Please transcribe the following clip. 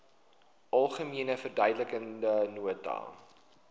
algemene verduidelikende nota